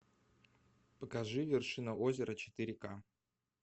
покажи вершина озера четыре ка